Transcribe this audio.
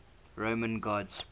roman gods